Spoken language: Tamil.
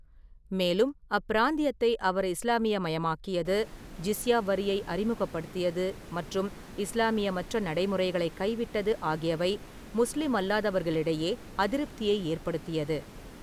மேலும், அப்பிராந்தியத்தை அவர் இஸ்லாமியமயமாக்கியது, ஜிஸ்யா வரியை அறிமுகப்படுத்தியது, மற்றும் இஸ்லாமியமற்ற நடைமுறைகளைக் கைவிட்டது ஆகியவை முஸ்லிமல்லாதவர்களிடையே அதிருப்தியை ஏற்படுத்தியது.